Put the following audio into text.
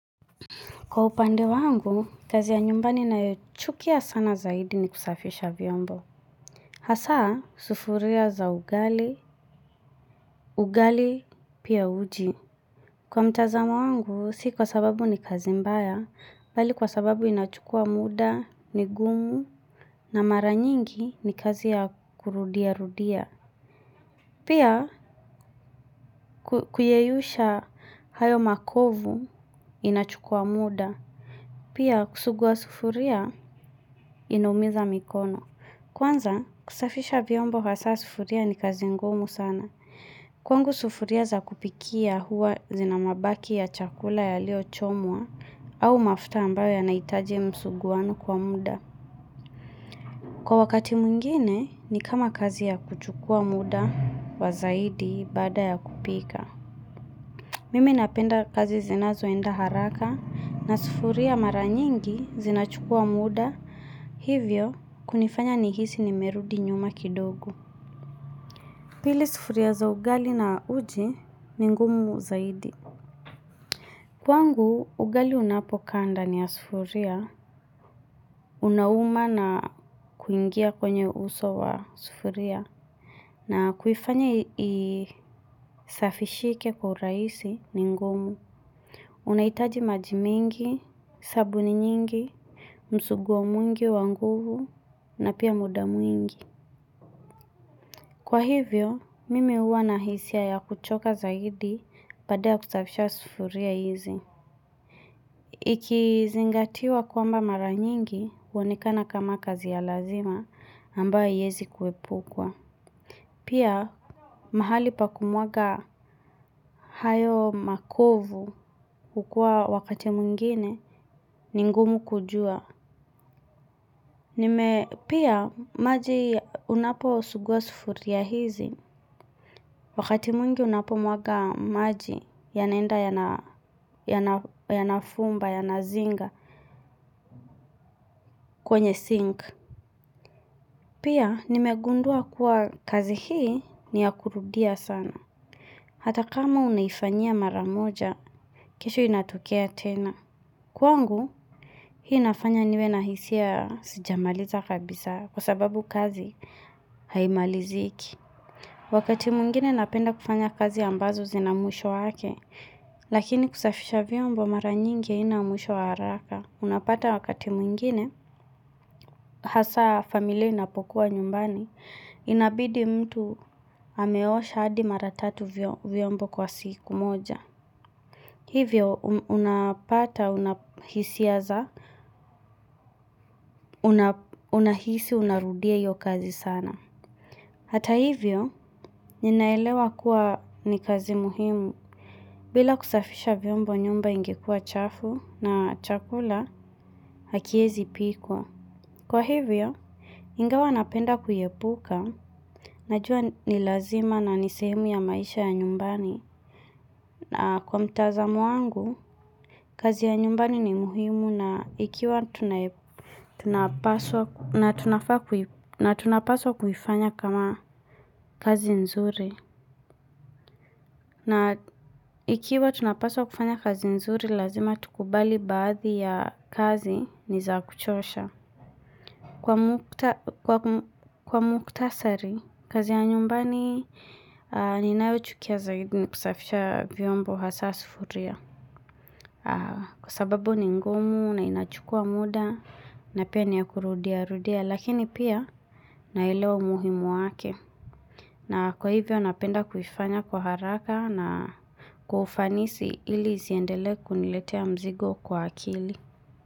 Kwa upande wangu, kazi ya nyumbani na yoichukia sana zaidi ni kusafisha vyombo. Hasa, sufuria za ugali, ugali, pia uji. Kwa mtazamo wangu, si kwa sababu ni kazi mbaya, bali kwa sababu inachukua muda, ni gumu, na mara nyingi ni kazi ya kurudia rudia. Pia, kuyeyusha hayo makovu, inachukua muda. Pia, kusugua sufuria, inaumiza mikono. Kwanza, kusafisha vyombo hasa sufuria ni kazi ngumu sana. Kwangu sufuria za kupikia huwa zina mabaki ya chakula yaliochomwa au mafuta ambayo ya nahitaji msuguano kwa muda. Kwa wakati mwingine, ni kama kazi ya kuchukua muda wa zaidi baada ya kupika. Mimi napenda kazi zinazoenda haraka na sufuria mara nyingi zinachukua muda hivyo kunifanya nihisi nimerudi nyuma kidogo. Pili sufuria za ugali na uji ni ngumu zaidi. Kwangu, ugali unapokaa ndani ya sufuria. Unauma na kuingia kwenye uso wa sufuria. Na kuifanya isafishike kwa urahisi ni ngumu. Unahitaji maji mingi, sabuni nyingi, msuguwo mwingi wa nguvu na pia muda mwingi. Kwa hivyo, mimi huwa na hisia ya kuchoka zaidi baada ya kusafisha sufuria hizi. Ikizingatiwa kwamba mara nyingi huonekana kama kazi ya lazima ambayo haiwezi kuepukwa. Pia, mahali pa kumwaga hayo makovu hukua wakati mwingine ni ngumu kujua. Pia, maji unapo sugua sufuria hizi. Wakati mwingi unapomwaga maji yanaenda yanafumba yanazinga kwenye sink. Pia nimegundua kuwa kazi hii ni ya kurudia sana. Hata kama unaifanyia mara moja, kesho inatokea tena. Kwangu hii inafanya niwe nahisia sijamaliza kabisa kwa sababu kazi haimaliziki. Wakati mwingine napenda kufanya kazi ambazo zinamwisho wake. Lakini kusafisha vyombo mara nyingi haina mwisho wa haraka. Unapata wakati mwingine. Hasa familia inapokuwa nyumbani. Inabidi mtu ameosha hadi mara tatu vyombo kwa siku moja. Hivyo unapata unahisia za unahisi unarudia hiyo kazi sana. Hata hivyo ninaelewa kuwa ni kazi muhimu. Bila kusafisha vyombo nyumba ingekuwa chafu na chakula hakiezi pikwa. Kwa hivyo, ingawa napenda kuiepuka najua ni lazima na ni sehemu ya maisha ya nyumbani na kwa mtazamo wangu, kazi ya nyumbani ni muhimu na ikiwa tunapaswa kuifanya kama kazi nzuri na ikiwa tunapaswa kufanya kazi nzuri lazima tukubali baadhi ya kazi ni za kuchosha. Kwa mukhtasari, kazi ya nyumbani, ninayo chukia zaidi ni kusafisha vyombo hasa sufuria. Kwa sababu ni ngumu na inachukua muda na pia ni ya kurudia rudia lakini pia naelewa umuhimu wake. Na kwa hivyo napenda kuifanya kwa haraka na kwa ufanisi ili isiendelee kuniletea mzigo kwa akili.